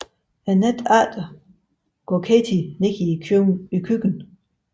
Natten efter går Katie ned i køkkenet